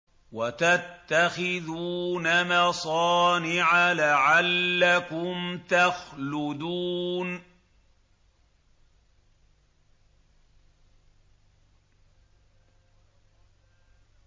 وَتَتَّخِذُونَ مَصَانِعَ لَعَلَّكُمْ تَخْلُدُونَ